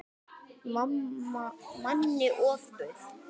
Manni ofbauð.